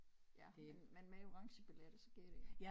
Ja men men med orangebilletter så giver det jo